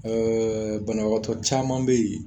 Ɛɛ banabagatɔ caman bɛ yen